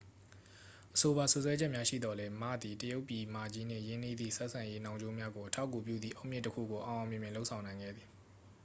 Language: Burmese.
အဆိုပါ စွပ်စွဲချက်များရှိသော်လည်း မ သည် တရုတ်ပြည်မကြီးနှင့် ရင်းနှီးသည့် ဆက်ဆံရေးနှောင်ကြိုးများကို အထောက်အကူပြုသည့် အုတ်မြစ်တစ်ခုကို အောင်အောင်မြင်မြင် လုပ်ဆောင်နိုင်ခဲ့သည်